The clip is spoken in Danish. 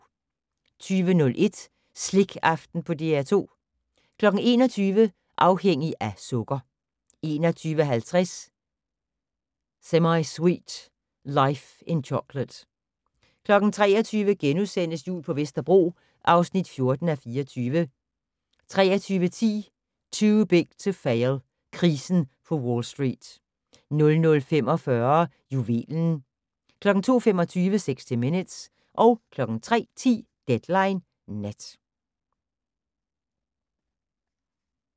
20:01: Slikaften på DR2 21:00: Afhængig af sukker 21:50: Semisweet: Life in Chocolate 23:00: Jul på Vesterbro (14:24)* 23:10: Too Big to Fail - krisen på Wall Street 00:45: Juvelen 02:25: 60 Minutes 03:10: Deadline Nat